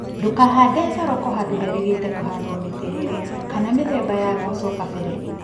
Ndũkahande thoroko handũ herigĩte kũhandwo mĩtĩrĩrĩ kana mĩthemba ya mboco kabere